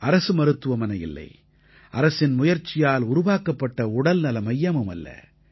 இது அரசு மருத்துவமனை இல்லை அரசின் முயற்சியால் உருவாக்கப்பட்ட உடல்நல மையமுமல்ல